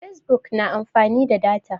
fesbuk na amfani da data